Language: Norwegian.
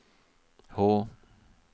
Hå